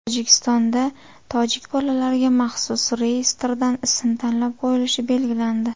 Tojikistonda tojik bolalariga maxsus reyestrdan ism tanlab qo‘yilishi belgilandi.